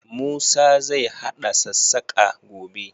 Musa zai haɗa sassaƙa, gobe.